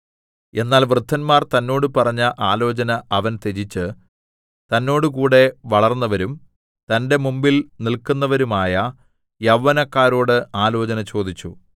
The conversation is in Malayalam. എന്നാൽ വൃദ്ധന്മാർ തന്നോട് പറഞ്ഞ ആലോചന അവൻ ത്യജിച്ച് തന്നോടുകൂടെ വളർന്നവരും തന്റെ മുമ്പിൽ നില്‍ക്കുന്നവരുമായ യൗവനക്കാരോട് ആലോചന ചോദിച്ചു